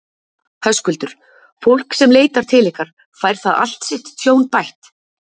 Höskuldur: Fólk sem leitar til ykkar, fær það allt sitt tjón bætt?